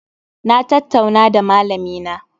Na tattauna da malamina